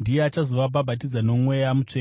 ndiye achazovabhabhatidza noMweya Mutsvene.’